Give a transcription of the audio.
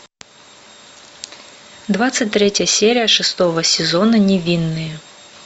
двадцать третья серия шестого сезона невинные